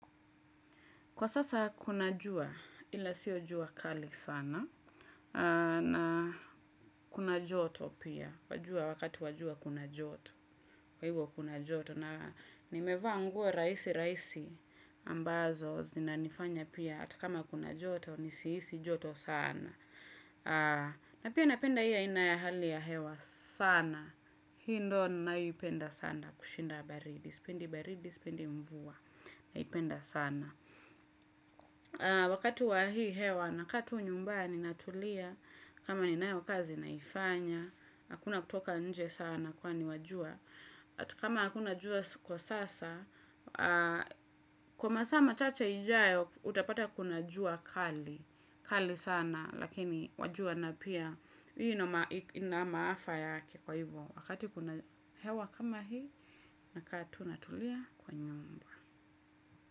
Kwa sasa kuna jua ila sio jua kali sana na kuna joto pia wajua wakati jua kuna joto kwa hivyo kuna joto na nimeva nguo raisi raisi ambazo zinanifanya pia atakama kuna joto nisiisi joto sana na pia napenda hiyo aina ya hali ya hewa sana hi ndo naipenda sana kushinda baridi spendi baridi spendi mvua naipenda sana. Wakati wa hii hewa naka tu nyumbani natulia. Kama ninayo kazi naifanya. Hakuna kutoka nje sana kwa ni wajua. Atu kama hakuna jua ko sasa. Kwa masama chache ijao utapata kuna jua kali. Kali sana lakini wajua na pia ina maafa yake kwa hivyo wakati kuna hewa kama hii nakatu natulia kwa nyumba.